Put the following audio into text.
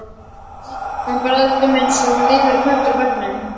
Hún barðist um eins og liðugur köttur á bekknum.